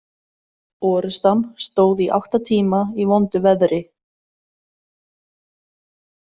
Orrustan stóð í átta tíma í vondu veðri.